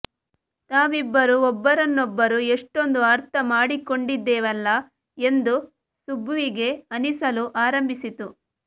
ತಾವಿಬ್ಬರೂ ಒಬ್ಬರನ್ನೊಬ್ಬರು ಎಷ್ಟೊಂದು ಅರ್ಥ ಮಾಡಿಕೊಂಡಿದ್ದೇವಲ್ಲ ಎಂದು ಸುಬ್ಬುವಿಗೆ ಅನಿಸಲು ಆರಂಭಿಸಿತ್ತು